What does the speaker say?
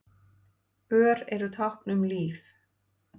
Ör eru tákn um líf.